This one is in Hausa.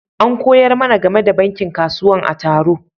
An koyar mana gamai da bankin kasuwan a taro.